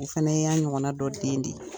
U fɛnɛ y'an ɲɔgɔnna dɔ den de ye.